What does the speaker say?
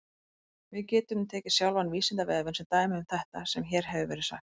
Við getum tekið sjálfan Vísindavefinn sem dæmi um þetta sem hér hefur verið sagt.